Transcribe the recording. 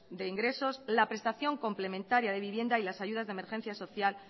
de ingresos la prestación complementaria de vivienda y las ayudas de emergencias social